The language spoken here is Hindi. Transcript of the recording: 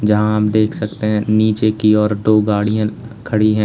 यहां हम देख सकते हैं नीचे की ओर दो गाड़ियां खड़ी है।